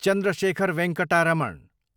Chandrashekhar Venkata Raman